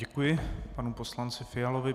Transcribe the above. Děkuji panu poslanci Fialovi.